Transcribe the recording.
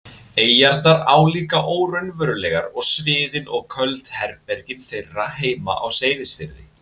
eyjarnar álíka óraunverulegar og sviðin og köld herbergin þeirra heima á Seyðisfirði.